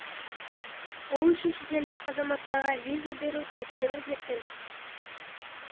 ол үшін шетелдік азаматтарға виза беру тәртібін өзгерткен